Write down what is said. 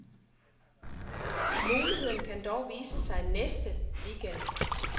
Muligheden kan dog vise sig næste weekend.